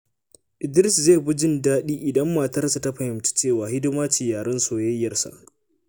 Idris zai fi jin daɗi idan matarsa ta fahimci cewa hidima ce yaren soyayyarsa.